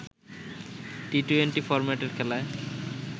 T twenty ফরম্যাটের খেলায়